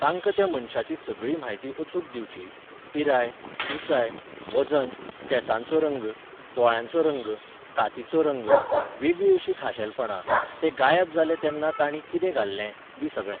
तांकां त्या मनशाची सगळी म्हायती अचूक दिवची, पिराय, उंचाय, वजन, केंसांचो रंग, दोळ्यांचो रंग, कातीचो रंग, वेगळीं अशीं खाशेलपणां, ते गायब जाले तेन्ना तांणी कितें घाल्लें, बी सगळें.